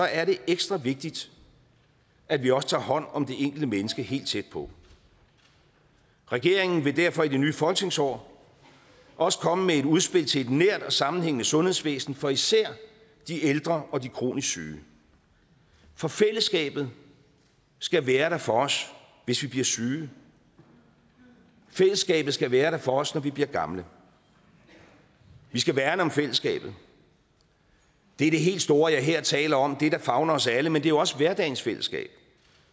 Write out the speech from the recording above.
er det ekstra vigtigt at vi også tager hånd om det enkelte menneske helt tæt på regeringen vil derfor i det nye folketingsår også komme med et udspil til et nært og sammenhængende sundhedsvæsen for især de ældre og de kronisk syge for fællesskabet skal være der for os hvis vi bliver syge fællesskabet skal være der for os når vi bliver gamle vi skal værne om fællesskabet det er det helt store jeg her taler om det der favner os alle men det er jo også hverdagens fællesskab